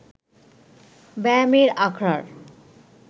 ব্যায়ামের আখড়ার